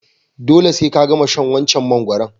Dole se ka gama shan wancan mangoron.